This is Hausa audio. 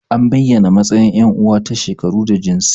An bayyana matsayin yan uwa ta shekaru da jinsi.